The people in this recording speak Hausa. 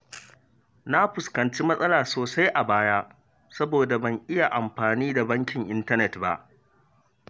Na fuskanci matsala sosai a baya saboda ban iya amfani da bankin intanet ba.